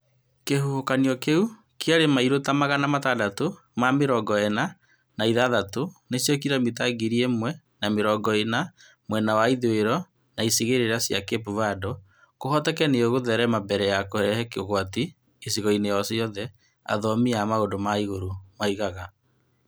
Kĩhuhũkanio kĩu kĩarĩ mairo ta magana matandatũ na mĩrongo ĩna na ithathatũ nĩcio kilomita ngiri ĩmwe na mĩrongo ĩna mwena wa ithũĩro wa icigĩrĩra cia Cape Verdeno kũhoteke nĩ ĩgũtherema mbere ya kũrehe ũgwati gĩcigo-inĩ o gĩothe, athomi a maũndũ ma igũrũ moigaga,